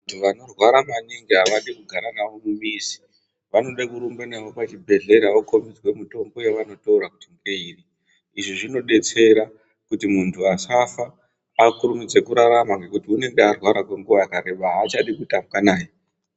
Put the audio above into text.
Vanorwara maningi avadi kugara navo mumizi, vanode kurumba navo kuchibhedhlera vokhombidzwe mitombo yavanotora kuti ngeiri, izvi zvinodetsera khuti munthu asafa akhurumidze khurarama ngekhuti unonge arwara kwenguwa yakareba aachadi kutambwa naye.